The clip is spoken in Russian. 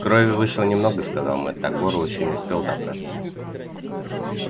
крови вышло немного сказал мэтт до горла ещё не успел добраться